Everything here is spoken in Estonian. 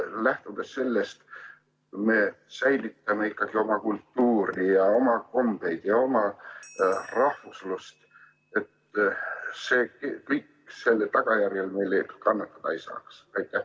Lähtudes sellest seadusest, kuidas me ikkagi säilitame oma kultuuri ja oma kombeid ja oma rahvuslust, et see kõik selle tagajärjel kannatada ei saaks?